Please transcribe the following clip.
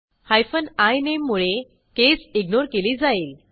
hyphen इनामे मुळे case ignore केली जाईल